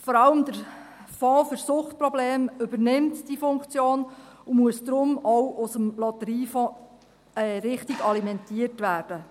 Vor allem der Fonds für Suchtprobleme übernimmt diese Funktion und muss darum auch aus dem Lotteriefonds richtig alimentiert werden.